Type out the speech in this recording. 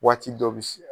Waati dɔ bɛ se